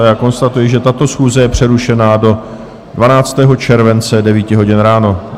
A já konstatuji, že tato schůze je přerušena do 12. července 9 hodin ráno.